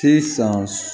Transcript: Sisan